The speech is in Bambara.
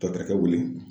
Tatakɛ wuli